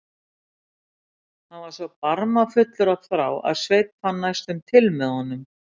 Hann var svo barmafullur af þrá að Sveinn fann næstum til með honum.